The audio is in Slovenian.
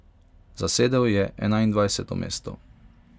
Zasedel je enaindvajseto mesto.